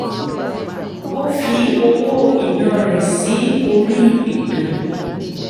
ó fi owó ìná rẹ̀ sí orí ètò